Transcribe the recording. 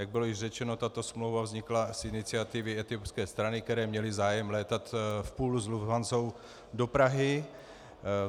Jak bylo již řečeno, tato smlouva vznikla z iniciativy etiopské strany, které měly zájem létat v poolu s Lufthansou do Prahy.